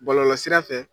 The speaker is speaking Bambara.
Bɔlɔlɔsira fɛ